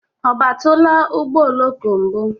Ọ batụla ụgbọ oloko mbụ?